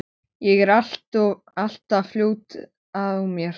Ég er alltaf of fljót á mér.